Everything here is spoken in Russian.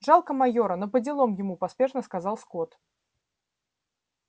жалко майора но поделом ему поспешно сказал скотт